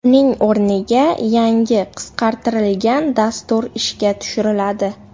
Uning o‘rniga yangi, qisqartirilgan dastur ishga tushiriladi.